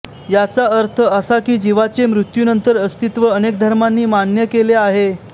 याचा अर्थ असा की जिवाचे मृत्यूनंतर अस्तित्व अनेक धर्मांनी मान्य केले आहे